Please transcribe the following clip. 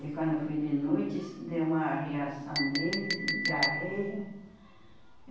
E quando foi de noite isso deu uma reação nele, de diarreia.